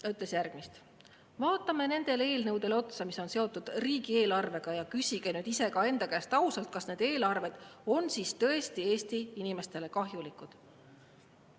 Ta ütles järgmist: vaatame nendele eelnõudele otsa, mis on seotud riigieelarvega, ja küsige iseenda käest ausalt, kas need eelarved on tõesti Eesti inimestele kahjulikud.